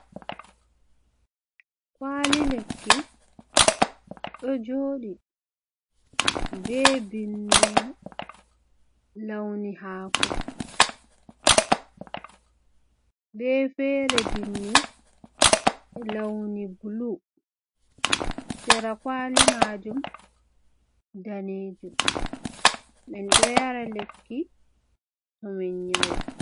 Kwali lekki ɗo joɗi be bindi man launi hako, be fere bindi launi blu, sera kwali majum danejum, min ɗo yara lekki to min nyauɓe.